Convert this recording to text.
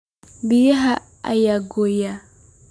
Biyihii ayaa go'ay.